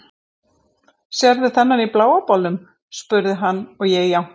Sérðu þennan í bláa bolnum? spurði hann og ég jánkaði.